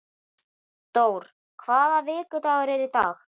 Dór, hvaða vikudagur er í dag?